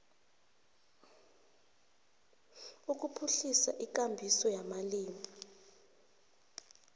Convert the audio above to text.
ukuphuhlisa ikambiso yamalimi